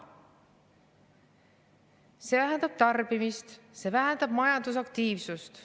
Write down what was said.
See vähendab tarbimist ja majandusaktiivsust.